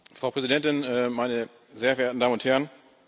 Frau Präsidentin, meine sehr geehrten Damen und Herren!